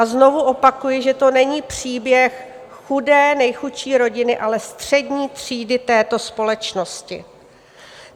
A znovu opakuji, že to není příběh chudé, nejchudší rodiny, ale střední třídy této společnosti.